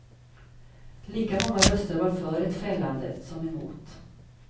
Lika många röster var för ett fällande som emot.